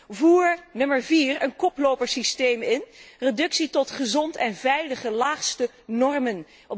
Ten vierde voer een koplopersysteem in. Reductie tot gezonde en veilige laagste normen.